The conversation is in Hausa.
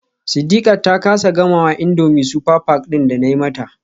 Sidiqat ta kasa gamawa indomie super pack din da nayi mata.